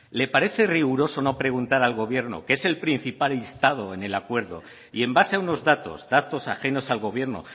le parece riguroso no preguntar al gobierno que es el principal instado en el acuerdo y en base a unos datos datos ajenos al gobierno